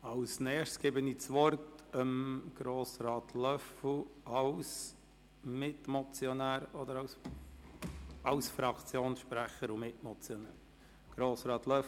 Als Nächstes erteile ich Grossrat Löffel als Fraktionssprecher und Mitmotionär das Wort.